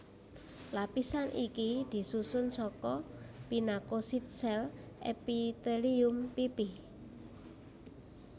Lapisan iki disusun saka pinakosit sél epitelium pipih